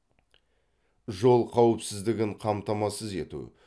жол қауіпсіздігін қамтамасыз ету